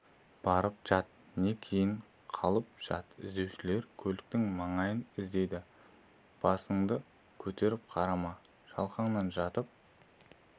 барып жат не кейін қалып жат іздеушілер көліктің маңайын іздейді басыңды көтеріп қарама шалқаңнан жатып